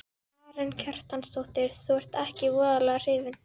Karen Kjartansdóttir: Þú ert ekkert voðalega hrifinn?